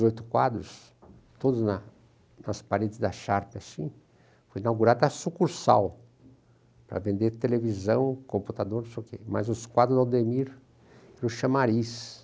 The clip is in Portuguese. dezoito quadros, todos nas paredes da Sharpe assim, foi inaugurada a sucursal para vender televisão, computador, não sei o quê, mas os quadros do Aldemir era o Chamariz.